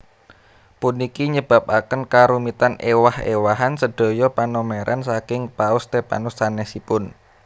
Puniki nyebabaken karumitan éwah éwahan sedaya panomeran saking Paus Stephanus sanèsipun